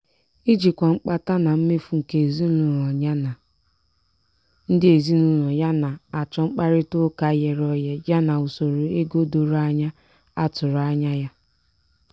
ijikwa mkpata na mmefu nke ezinụlọ ya na ndị ezinụlọ na-achọ mkparịta ụka ghere oghe ya na usoro ego doro anya a tụrụ anya ya.